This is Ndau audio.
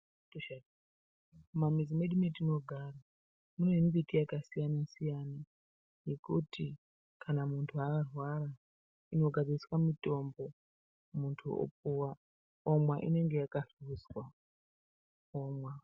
Mumamizi mwedu mwatinogara mune mumbiti yakasiyan siyana yekuti kana muntu arwara inogadziriswa mutombo muntu opuwa omwa inenga yakahluzwa omwa.